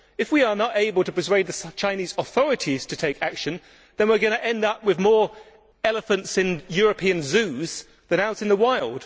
If we are not able to persuade the Chinese authorities to take action, then we are going to end up with more elephants in European zoos than out in the wild.